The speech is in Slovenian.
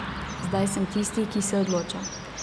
Zdaj sem tisti, ki se odloča.